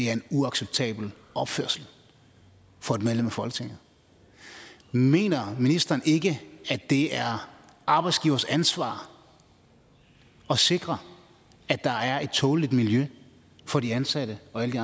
er en uacceptabel opførsel for et medlem af folketinget mener ministeren ikke at det er arbejdsgiverens ansvar at sikre at der er et tåleligt miljø for de ansatte og alle de